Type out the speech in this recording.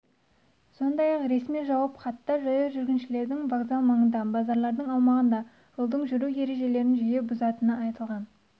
сондай-ақ ресми жауап хатта жаяу жүргіншілердің вокзал маңында базарлардың аумағында жолда жүру ережелерін жиі бұзатыны айтылған